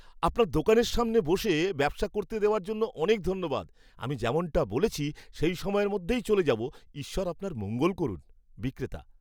আপনার দোকানের সামনে বসে ব্যবসা করতে দেওয়ার জন্য অনেক ধন্যবাদ। আমি যেমনটা বলেছি সেই সময়ের মধ্যেই চলে যাব, ঈশ্বর আপনার মঙ্গল করুন। বিক্রেতা